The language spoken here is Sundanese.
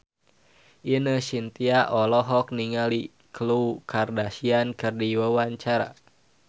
Ine Shintya olohok ningali Khloe Kardashian keur diwawancara